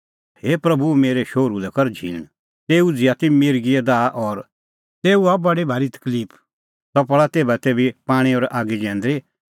हे प्रभू मेरै शोहरू लै कर झींण तेऊ उझ़िआ ती मिर्गिए दाह और तेऊ हआ बडी भारी तकलिफ सह पल़ा तेभातेभी पाणीं और आगी जैंदरी